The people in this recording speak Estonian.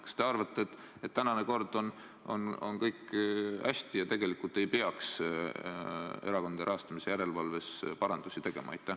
Kas te arvate, et kehtiva korraga on kõik hästi ja tegelikult ei peaks erakondade rahastamise järelevalves parandusi tegema?